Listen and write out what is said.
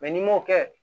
n'i m'o kɛ